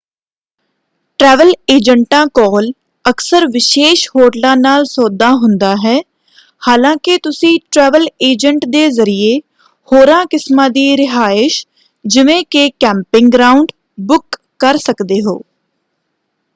Travel ਏਜੰਟਾਂ ਕੋਲ ਅਕਸਰ ਵਿਸ਼ੇਸ਼ ਹੋਟਲਾਂ ਨਾਲ ਸੌਦਾ ਹੁੰਦਾ ਹੈ ਹਾਲਾਂਕਿ ਤੁਸੀਂ ਟ੍ਰੈਵਲ ਏਜੰਟ ਦੇ ਜ਼ਰੀਏ ਹੋਰਾਂ ਕਿਸਮਾਂ ਦੀ ਰਿਹਾਇਸ਼ ਜਿਵੇਂ ਕਿ ਕੈਂਪਿੰਗ ਗਰਾਉਂਡ ਬੁੱਕ ਕਰ ਸਕਦੇ ਹੋ।